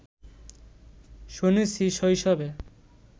শুনেছি শৈশবে